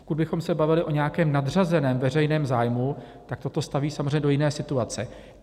Pokud bychom se bavili o nějakém nadřazeném veřejném zájmu, tak toto staví samozřejmě do jiné situace.